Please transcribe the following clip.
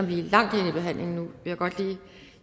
vi er langt henne i forhandlingen vil jeg godt lige